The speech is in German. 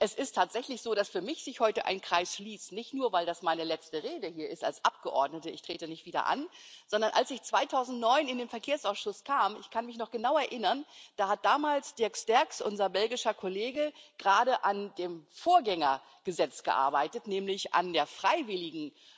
Es ist tatsächlich so, dass sich für mich heute ein Kreis schließt, nicht nur weil das meine letzte Rede als Abgeordnete ist ich trete nicht wieder an sondern als ich 2009 in den Ausschuss für Verkehr und Tourismus kam ich kann mich noch genau erinnern da hat damals Dirk Sterckx, unser belgischer Kollege, gerade an dem Vorgängergesetz gearbeitet, nämlich an der freiwilligen